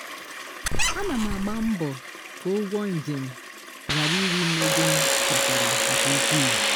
ana m agba mbọ ka ụgwọ njem ghara iri m ego m kpatara nke ukwu